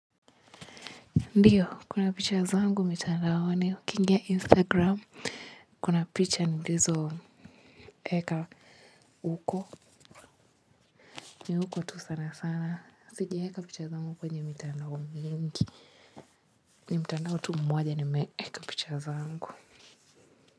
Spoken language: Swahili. Ndio kuna picha zangu mitandaoni ukiingia instagram kuna picha nilizo weka huko ni huko tu sana sana. Sijaweka picha zangu kwenye ni mitanda mingi ni mitandao mmoja ni meweka picha zangu.